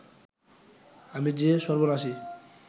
আমি যে সর্বনাশী